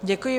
Děkuji.